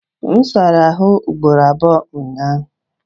M sara ahụ ugboro abụọ ụnyaahụ.